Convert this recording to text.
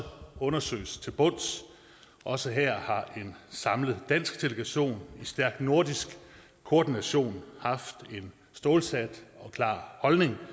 undersøges til bunds og også her har en samlet dansk delegation i stærk nordisk koordination haft en stålsat og klar holdning